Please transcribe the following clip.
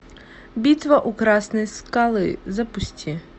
битва у красной скалы запусти